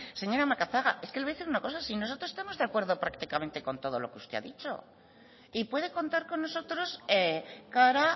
es que le voy a decir una cosa si nosotros estamos de acuerdo prácticamente con todo lo que usted ha dicho y puede contar con nosotros cara